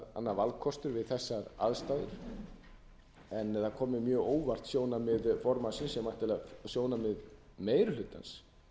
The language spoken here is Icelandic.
valkostur við þessar aðstæður en það kom mér mjög á óvart sjónarmið formannsins sem væntanlega er sjónarmið meiri hlutans